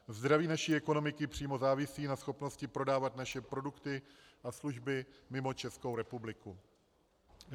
Zdraví naší ekonomiky přímo závisí na schopnosti prodávat naše produkty a služby mimo Českou republiku.